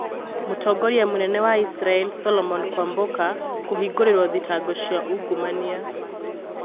Mũtongoria mũnene wa Isiraĩri solomon kwambuka kũhĩngũrĩrwo thitango cia ungumania